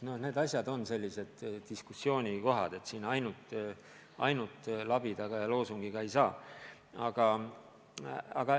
Need on sellised diskussioonikohad, siin ainult labidaga ja loosungiga ei saa.